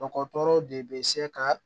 Dɔgɔtɔrɔw de bɛ se ka